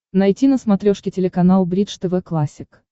найти на смотрешке телеканал бридж тв классик